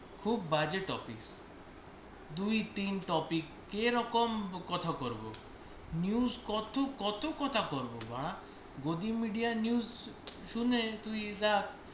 খুব বাজে topicx দুই তিন topic এরকম কথা করব, news কত, কত কথা পড়ব বাঁড়া। গদি media news শুনে তুই দেখ।